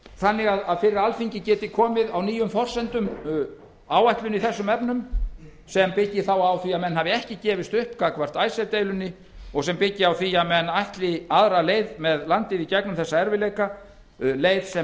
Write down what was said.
þannig að fyrir alþingi geti komið á nýjum forsendum áætlun í þessum efnum sem byggist þá á því að menn hafi ekki gefist upp gagnvart icesave deilunni og sem byggist á því að menn ætli aðra leið með landið í gegnum þessa erfiðleika leið sem